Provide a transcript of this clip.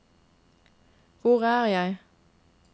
hvor er jeg